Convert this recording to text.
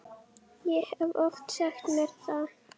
Ég hef oft sagt þér það.